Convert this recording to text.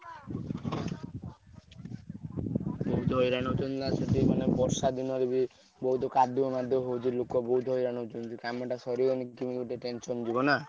ବହୁତ୍ ହଇରାଣ ହଉଛନ୍ତି ନା ସେଠି ମାନେ ବର୍ଷା ଦିନରେ ବି ବହୁତ୍ କାଦୁଅ ମାଦୁଅ ହଉଛି ଲୋକବହୁତ୍ ହଇରାଣ ହଉଛନ୍ତି କାମ ଟା ସରିଗଲେ କିମିତି ଗୋଟେ tension ଯିବ ନା।